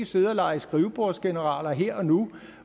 sidde og lege skrivebordsgeneraler her og nu